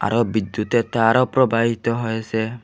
বিদ্যুতের তারও প্রবাহিত হয়েসে ।